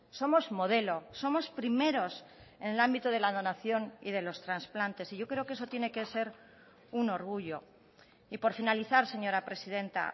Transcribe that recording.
somos modelo somos primeros en el ámbito de la donación y de los trasplantes y yo creo que eso tiene que ser un orgullo y por finalizar señora presidenta